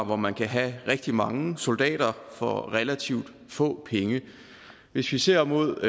hvor man kan have rigtig mange soldater for relativt få penge hvis vi ser mod